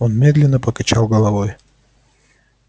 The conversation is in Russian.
он медленно покачал головой